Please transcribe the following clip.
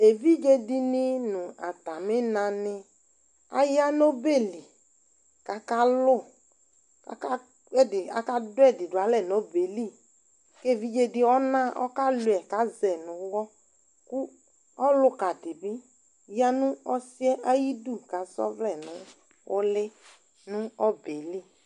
Evidze dɩnɩ nʋ atamɩnanɩ aya nʋ ɔbɛ li kʋ akalʋ kʋ aka ɛdɩ akadʋ ɛdɩ dʋ alɛ nʋ ɔbɛ yɛ li Kʋ evidze dɩ ɔna ɔkalʋɩɛ yɩ kʋ azɛ nʋ ʋɣɔ kʋ ɔlʋka dɩ bɩ ya nʋ ɔsɩ yɛ ayidu kʋ asa ɔvlɛ nʋ ʋlɩ nʋ ɔbɛ li